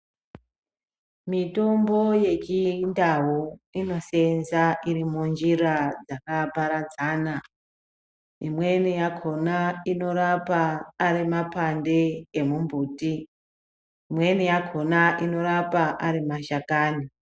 Mitombo yechindau inosenza iri munjira dzakaparadzana, imweni yakhona inorapa ari mapande emumbuti, ,imweni yakhona inorapa ari mashakani.